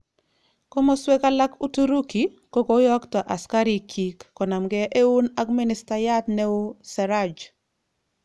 Komoswek alak Uturiki, kokoyokto asikarik kyik konage eun ak ministayat neo Serraj